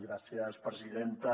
gràcies presidenta